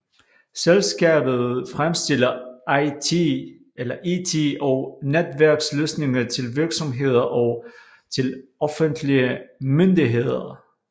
Selskabet fremstiller IT og netværksløsninger til virksomheder og til offentlige myndigheder